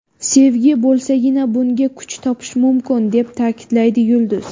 Sevgi bo‘lsagina bunga kuch topish mumkin”, deb ta’kidlaydi yulduz.